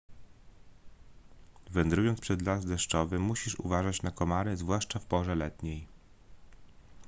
wędrując przez las deszczowy musisz uważać na komary zwłaszcza w porze letniej